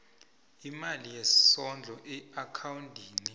imali yesondlo eakhawundini